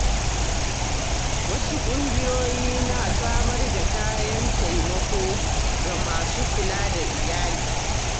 Wasu ƙungiyoyi na samar da kayan taimako ga masu kula da iyali.